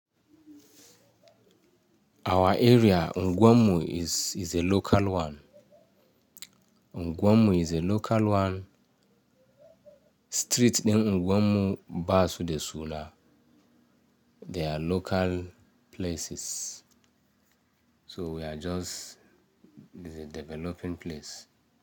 Our area, Ungwanmu is, is a local one. Ungwanmu is a local one. Street ɗin Ungwanmu basu da suna. They are local places. So we are just-- this is a developing place.